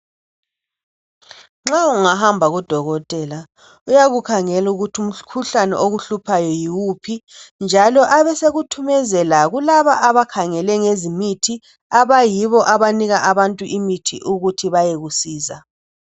Nxa ungahamba kudokotela uyakukhangela ukuthi umkhuhlane okuhluphayo yiwuphi njalo abesekuthumezela kulaba abakhengele ngezemithi abayibo abanika abantu imithi ukuthi bayekusiza.